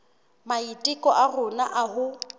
maiteko a rona a ho